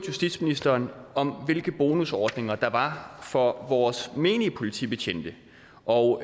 justitsministeren om hvilke bonusordninger der var for vores menige politibetjente og